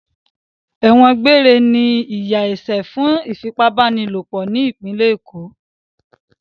Ẹ̀wọ̀n gbére ni ìyà ẹ̀ṣẹ̀ fún ìfipábánilòpọ̀ ní ìpínlẹ̀ Èkó.